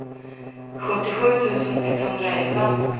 sjuttiosju tusen etthundraelva